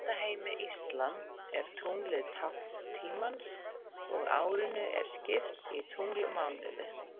Í hugmyndaheimi íslam er tunglið tákn tímans og árinu er skipt í tunglmánuði.